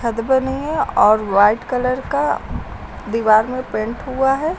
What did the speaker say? बनी है और वाइट कलर का दीवार में पेंट हुआ है।